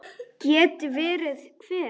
Geti verið hver?